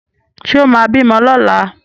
Ṣé ó máa bímọ lọ́la?